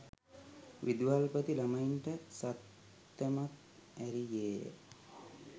විදුහල්පති ළමයින්ට සත්තමක් ඇරියේය